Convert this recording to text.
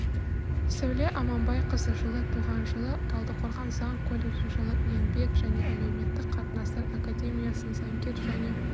сәуле аманбайқызы жылы туған жылы талдықорған заң колледжін жылы еңбек және әлеуметтік қатынастар академиясын заңгер және